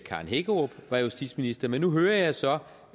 karen hækkerup var justitsminister men nu hører jeg så